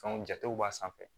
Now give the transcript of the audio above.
Fɛnw jatew b'a sanfɛ